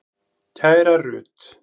Kæra Rut.